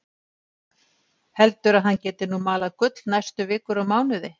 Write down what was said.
Heldur að hann geti nú malað gull næstu vikur og mánuði.